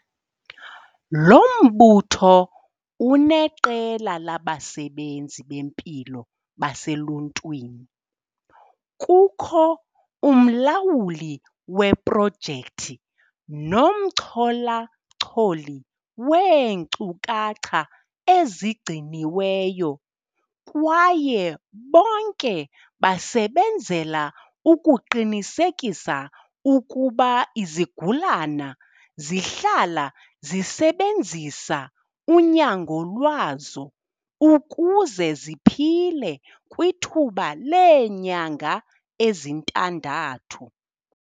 Lo mbutho uneqela labasebenzi bempilo baseluntwini, kukho umlawuli weprojekthi nomchola-choli weenkcukacha ezigciniweyo kwaye bonke basebenzela ukuqinisekisa ukuba izigulana zihlala zisebenzisa unyango lwazo ukuze ziphile kwithuba leenyanga ezintandathu.